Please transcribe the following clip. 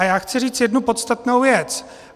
A já chci říct jednu podstatnou věc.